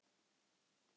Hún er ég.